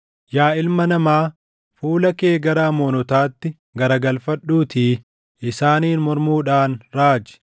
“Yaa ilma namaa, fuula kee gara Amoonotaatti garagalfadhuutii isaaniin mormuudhaan raaji.